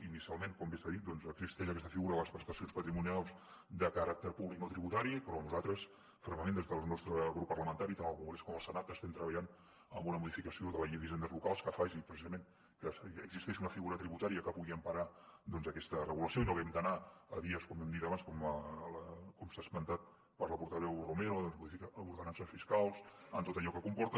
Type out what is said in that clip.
inicialment com bé s’ha dit existeix aquesta figura de les prestacions patrimonials de caràcter públic no tributari però nosaltres fermament des del nostre grup parlamentari tant al congrés com al senat estem treballant en una modificació de la llei d’hisendes locals que faci precisament que existeixi una figura tributària que pugui emparar aquesta regulació i no haguem d’anar a vies com hem dit abans com s’ha esmentat per la portaveu romero doncs de modificar ordenances fiscals amb tot allò que comporta